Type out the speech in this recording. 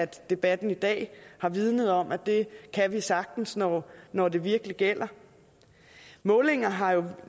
debatten i dag har vidnet om at det kan vi sagtens når når det virkelig gælder målinger har